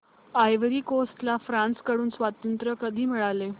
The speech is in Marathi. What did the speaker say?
आयव्हरी कोस्ट ला फ्रांस कडून स्वातंत्र्य कधी मिळाले